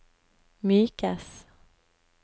mykes